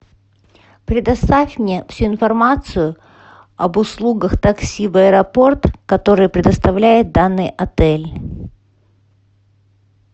предоставь мне всю информацию об услугах такси в аэропорт которые предоставляет данный отель